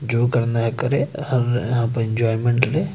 जो करना है करें और आप एंजॉयमेंट ले।